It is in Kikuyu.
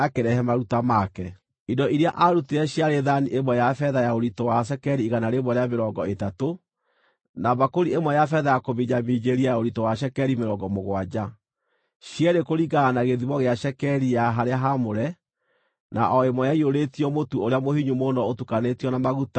Indo iria aarutire ciarĩ thaani ĩmwe ya betha ya ũritũ wa cekeri igana rĩa mĩrongo ĩtatũ, na mbakũri ĩmwe ya betha ya kũminjaminjĩria ya ũritũ wa cekeri mĩrongo mũgwanja, cierĩ kũringana na gĩthimo gĩa cekeri ya harĩa haamũre, na o ĩmwe ĩiyũrĩtio mũtu ũrĩa mũhinyu mũno ũtukanĩtio na maguta, ũrĩ iruta rĩa mũtu;